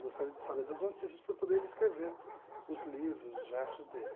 Gostaria de saber das notícias para poder escrever os livros, os versos dele.